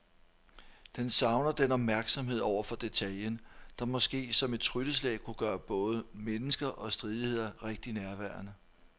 Den savner den opmærksomhed over for detaljen, der måske som et trylleslag kunne gøre både mennesker og stridigheder rigtig nærværende.